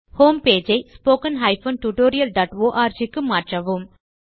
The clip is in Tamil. ஹோம் பேஜ் ஐ spoken tutorialஆர்க் க்கு மாற்றவும்